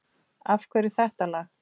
Af hverju þetta lag?